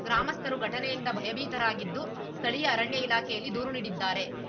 ಗ್ರಾಮಸ್ಥರು ಘಟನೆಯಿಂದ ಭಯಭೀತರಾಗಿದ್ದು ಸ್ಥಳೀಯ ಅರಣ್ಯ ಇಲಾಖೆಯಲ್ಲಿ ದೂರು ನೀಡಿದ್ದಾರೆ